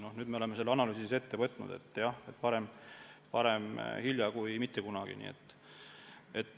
Nüüd me oleme selle analüüsi ette võtnud – parem hilja kui mitte kunagi.